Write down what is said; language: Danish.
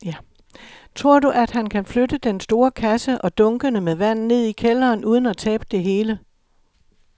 Tror du, at han kan flytte den store kasse og dunkene med vand ned i kælderen uden at tabe det hele?